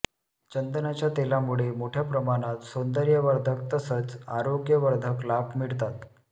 चंदनाच्या तेलामुळे मोठ्या प्रमाणात सौंदर्यवर्धक तसंच आरोग्यवर्धक लाभ मिळतात